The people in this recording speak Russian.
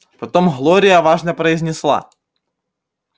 потом глория важно произнесла